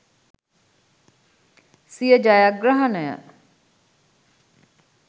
සිය ජයග්‍රහණය